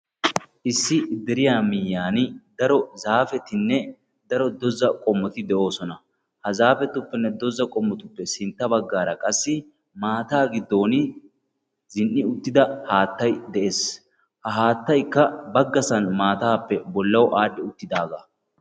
Issi deriyaa miyiyaan daro zaapettinne daro doza qommoti de'oosona. ha zaapetupenne doza qomotuppe sintta baggaara qassi maataa giddon zin"i uttida haattay de'ees. ha haattay baggasan maataappe bollawu aadhdhi uttidagaa.